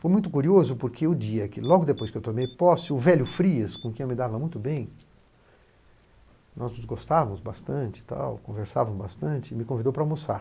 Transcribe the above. Foi muito curioso porque o dia que logo depois que eu tomei posse, o velho Frias, com quem eu me dava muito bem, nós nos gostávamos bastante, tal, conversávamos bastante, me convidou para almoçar.